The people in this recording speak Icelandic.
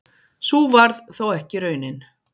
Sú varð þó ekki raunin.